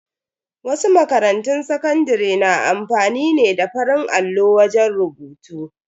Wasu makarantun sakandare na amfani ne da farin allo wajen rubutu.